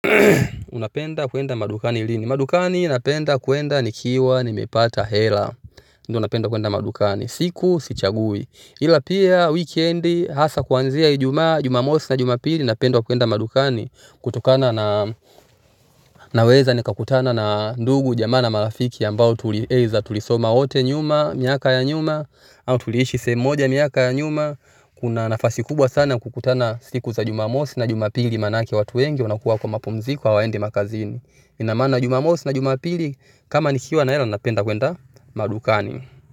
Unapenda kwenda madukani lini? Madukani napenda kwenda nikiwa nimepata hela. Unapenda kuenda madukani? Siku sichagui ila pia wikendi hasa kuanzia Ijumaa, Jumamosi au Jumapili napenda kuenda madukani, naweza kukutana na either ndugu ama marafiki au tuliishi sehemu moja miaka ya nyuma. Kuna nafasi kubwa sana kukutana siku za Jumamosi na Jumapili maana watu wengi huwa kwenye mapumziko, hawaendi kazini. Inamaanisha Jumamosi na Jumapili kama nikiwa na hela napenda kwenda madukani.